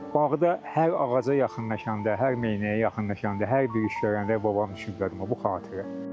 Bağda hər ağaca yaxınlaşanda, hər meynəyə yaxınlaşanda, hər bir iş görəndə babam düşünürəm bu xatirə.